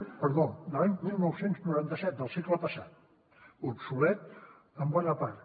perdó de l’any dinou noranta set del segle passat obsolet en bona part